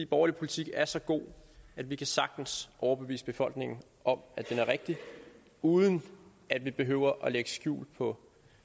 borgerlige politik er så god at vi sagtens overbevise befolkningen om at den er rigtig uden at vi behøver at lægge skjul på